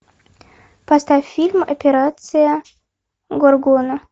поставь фильм операция горгона